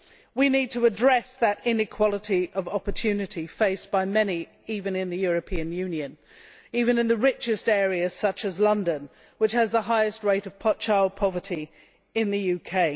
We need to address the inequality of opportunity faced by many, even in the European Union and even in the richest areas, such as London, which has the highest rate of child poverty in the UK.